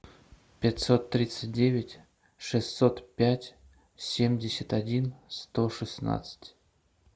пятьсот тридцать девять шестьсот пять семьдесят один сто шестнадцать